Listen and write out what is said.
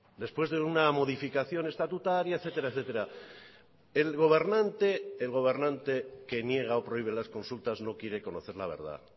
después de una modificación estatutaria etcétera etcétera el gobernante que niega o prohíbe las consultas no quiere conocer la verdad